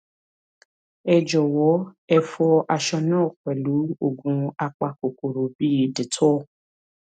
ẹ jọwọ ẹ fọ aṣọ náà pẹlú oògùn apakòkòrò bíi dettol